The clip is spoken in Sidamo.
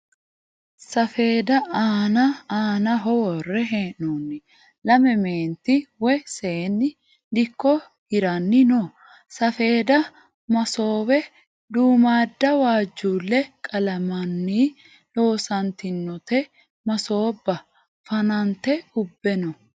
Safeedda aana aanaho worre hee'noonni lame meenti woyi seenni dikko hiranni no. Safeedda masoowe duummaadda waajjuulle qalammanni loosantinote masoobba fanante ubbe no.